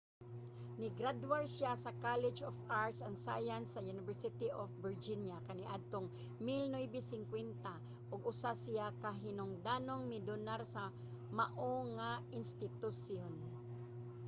nigradwar siya sa college of arts & science sa university of virginia kaniadtong 1950 ug usa siya ka hinungdanong mi-donar sa mao nga institusyon